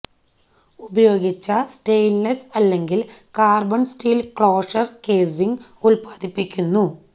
ഉപയോഗിച്ച സ്റ്റെയിൻലെസ്സ് അല്ലെങ്കിൽ carbon steel closure casing ഉല്പാദിപ്പിക്കുന്ന